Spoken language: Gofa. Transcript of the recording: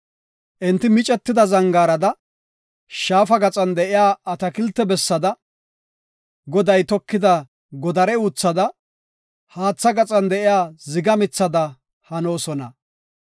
Enti micetida zangaarada, shaafa gaxan de7iya atakiltiya bessada, Goday tokida godare uuthada, haatha gaxan de7iya ziga mithada hanoosona.